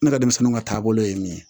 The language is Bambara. Ne ka denmisɛnninw ka taabolo ye min ye